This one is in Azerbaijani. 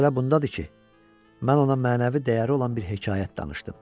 Məsələ bundadır ki, mən ona mənəvi dəyəri olan bir hekayət danışdım.